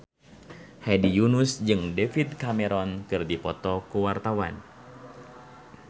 Hedi Yunus jeung David Cameron keur dipoto ku wartawan